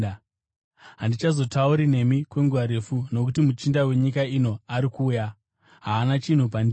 Handichazotauri nemi kwenguva refu, nokuti muchinda wenyika ino ari kuuya. Haana chinhu pandiri,